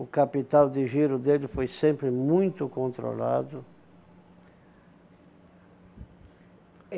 O capital de giro dele foi sempre muito controlado.